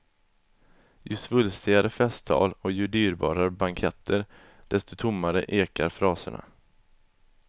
Ju svulstigare festtal och ju dyrbarare banketter, desto tommare ekar fraserna.